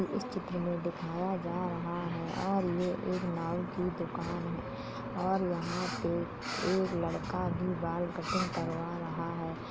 कि इस चित्र में दिखाया जा रहा है और ये एक नाऊ की दुकान है और यहां पे एक लड़का भी बाल कट्टिंग करवा रहा है।